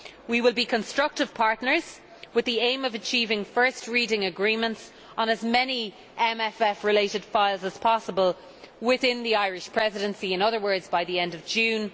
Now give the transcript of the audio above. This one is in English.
We will be constructive partners with the aim of achieving first reading agreements on as many MFF related files as possible within the Irish Presidency, in other words by the end of June.